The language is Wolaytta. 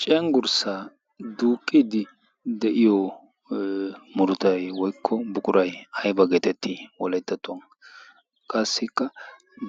cenggurssa duuqqidi de'iyo murutay woykko buquray ayba geetettii wolayttattuwaa qassikka